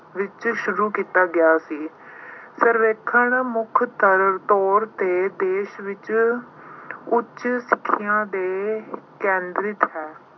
ਵਿੱਚ ਸ਼ੁਰੂ ਕੀਤਾ ਗਿਆ ਸੀ। ਸਰਵੇਖਣ ਮੁੱਖ ਤਰ ਅਹ ਤੌਰ ਤੇ ਦੇਸ਼ ਵਿੱਚ ਉੱਚ ਸਿੱਖਿਆ ਤੇ ਕੇਂਦਰਿਤ ਹੈ।